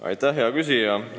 Aitäh, hea küsija!